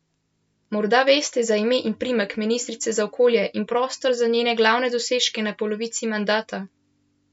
Morda veste za ime in priimek ministrice za okolje in prostor in za njene glavne dosežke na polovici mandata?